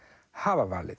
hafa valið